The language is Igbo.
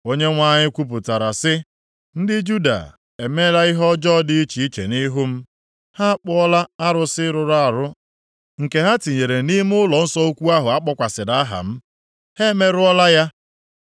“‘ Onyenwe anyị kwupụtara sị, ndị Juda emeela ihe ọjọọ dị iche iche nʼihu m. Ha akpụọla arụsị rụrụ arụ nke ha tinyere nʼime ụlọnsọ ukwu ahụ a kpọkwasịrị aha m. Ha emerụọla ya.